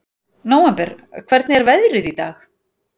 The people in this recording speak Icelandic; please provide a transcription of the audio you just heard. Nóvember, hvernig er veðrið í dag?